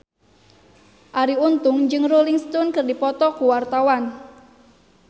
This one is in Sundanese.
Arie Untung jeung Rolling Stone keur dipoto ku wartawan